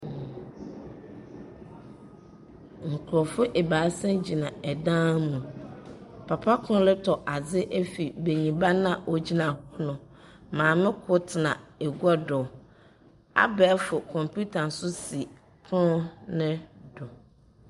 Nkrɔfo abaasa gyina dan mu. Papa kor retɔ adze afi benyimba a ogyina hɔ no. Maame kor tena agua do. Abɛɛfo kɔmputa nso si pon no do.